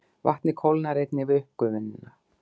Vatnið kólnar einnig við uppgufunina.